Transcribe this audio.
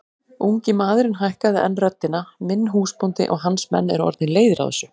Ungi maðurinn hækkaði enn röddina:-Minn húsbóndi og hans menn eru orðnir leiðir á þessu!